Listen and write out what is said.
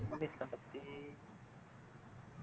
feminism பத்தி